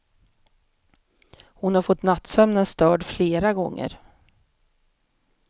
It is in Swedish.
Hon har fått nattsömnen störd flera gånger.